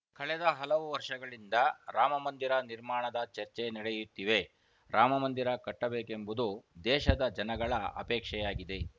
ಕಳೆದ ಹಲವು ವರ್ಷಗಳಿಂದ ರಾಮಮಂದಿರ ನಿರ್ಮಾಣದ ಚರ್ಚೆ ನಡೆಯುತ್ತಿವೆ ರಾಮಮಂದಿರ ಕಟ್ಟಬೇಕೆಂಬುದು ದೇಶದ ಜನಗಳ ಅಪೇಕ್ಷೆಯಾಗಿದೆ